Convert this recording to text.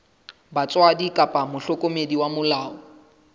batswadi kapa mohlokomedi wa molao